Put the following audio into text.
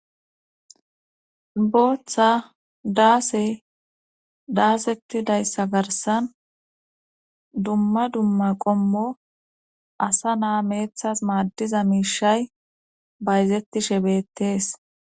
booththa daase daasetti dayssa garsan dumma dumma qommo asa naa meeththas maaddiza miishay bayzetti shebettees